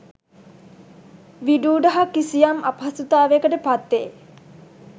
විඩූඩභ කිසියම් අපහසුතාවයකට පත්වෙ